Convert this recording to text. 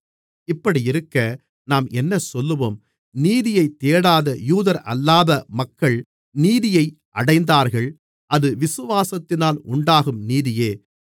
இப்படியிருக்க நாம் என்னசொல்லுவோம் நீதியைத் தேடாத யூதரல்லாத மக்கள் நீதியை அடைந்தார்கள் அது விசுவாசத்தினால் உண்டாகும் நீதியே